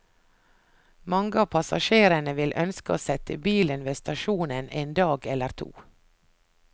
Mange av passasjerene vil ønske å sette bilen ved stasjonen en dag eller to.